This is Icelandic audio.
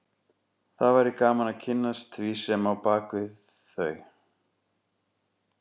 Það væri gaman að kynnast því sem er á bak við þau